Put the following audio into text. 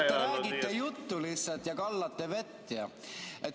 Ma vaatasin, et te lihtsalt ajate juttu ja kallate vett.